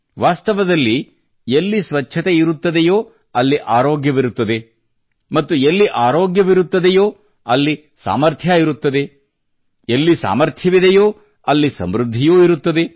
ವಾಸ್ತವದಲ್ಲಿ ಎಲ್ಲಿ ಸ್ವಚ್ಛತೆಯಿರುತ್ತದೆಯೋ ಅಲ್ಲಿ ಆರೋಗ್ಯವಿರುತ್ತದೆ ಮತ್ತು ಎಲ್ಲಿ ಆರೋಗ್ಯವಿರುತ್ತದೆಯೋ ಅಲ್ಲಿ ಸಾಮರ್ಥ್ಯ ಇರುತ್ತದೆ ಹಾಗೆಯೇ ಸಮೃದ್ಧಿಯೂ ಇರುತ್ತದೆ